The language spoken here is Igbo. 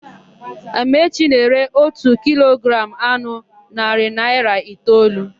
Amaechi na-ere ótù kilogramụ anụ narị naịra itoolu.